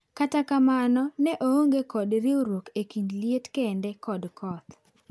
Kata kamano ne onge kod riuruok e kind liet kende kod koth.